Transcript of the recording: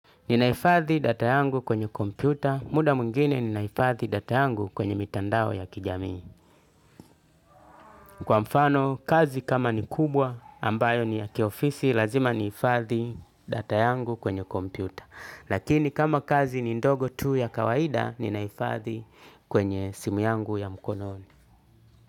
Ninahifadhi data yangu kwenye kompyuta, muda mwingine ninahifadhi data yangu kwenye mitandao ya kijamii. Kwa mfano, kazi kama ni kubwa ambayo ni ya kiofisi, lazima nihifadhi data yangu kwenye kompyuta. Lakini kama kazi ni ndogo tu ya kawaida, ninahifadhi kwenye simu yangu ya mkononi.